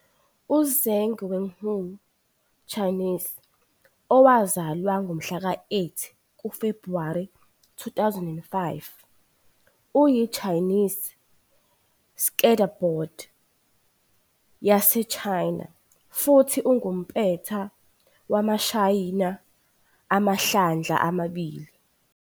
UZeng Wenhui, Chinese, owazalwa ngomhlaka-8 kuFebhuwari 2005, uyi-Chinese skateboarder yaseChina futhi ungumpetha wamaShayina amahlandla amabili.